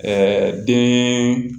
den